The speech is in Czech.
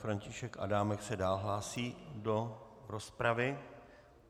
František Adámek se dál hlásí do rozpravy.